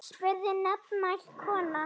spurði nefmælt kona.